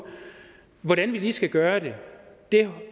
hvordan vi lige skal gøre det